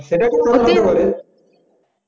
সেটাই